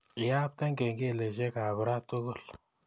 Iapte kengeleshekab raa tugul